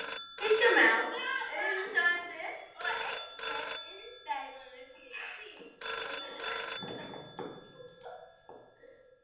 Kristján Már Unnarsson: Og er einhver innistæða fyrir því?